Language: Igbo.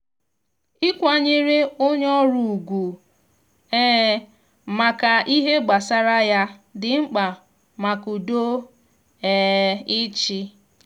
ikwanyere onye ọrụ ugwu um maka ihe gbasara ya di mkpa maka udo um ịchị.